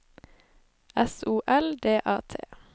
S O L D A T